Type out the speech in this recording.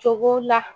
Cogo la